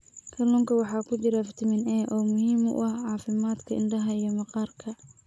Kalluunka waxaa ku jira fitamiin A oo muhiim u ah caafimaadka indhaha iyo maqaarka.